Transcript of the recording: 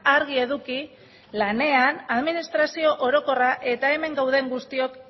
argi eduki lanean administrazio orokorra eta hemen gauden guztiok